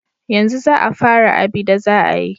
Yanzu za a fara abida za a yi.